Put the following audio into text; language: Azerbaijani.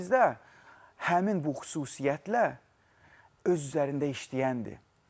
Birinizdə həmin bu xüsusiyyətlə öz üzərində işləyəndir.